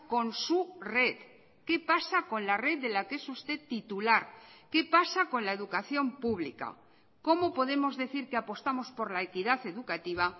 con su red qué pasa con la red de la que es usted titular qué pasa con la educación pública cómo podemos decir que apostamos por la equidad educativa